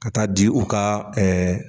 Ka taa di u ka